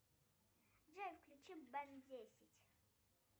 джой включи бен десять